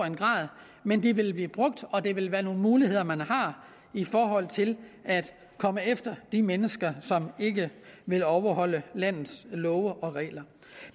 en grad men de vil blive brugt og det vil være nogle muligheder man har i forhold til at komme efter de mennesker som ikke vil overholde landets love og regler